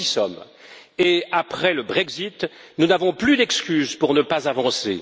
Nous y sommes, et après le Brexit, nous n'avons plus d'excuses pour ne pas avancer.